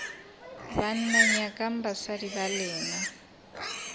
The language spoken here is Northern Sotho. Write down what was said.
banna nyakang basadi ba lena